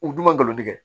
U dun ma galon tigɛ